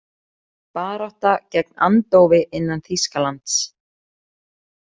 Barátta gegn andófi innan Þýskalands